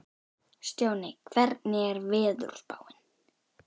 Stjáni, hvernig er veðurspáin?